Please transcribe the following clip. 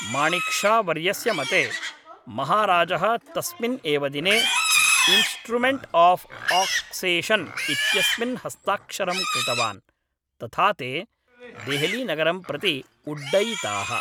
माणिक् शा वर्यस्य मते, महाराजः तस्मिन् एव दिने इन्स्ट्रुमेण्ट् आफ् आक्सेषन् इत्यस्मिन् हस्ताक्षरं कृतवान्, तथा ते देहलीनगरं प्रति उड्डयिताः।